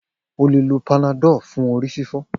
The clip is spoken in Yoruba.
O le lo Panadol fún orí fífọ́.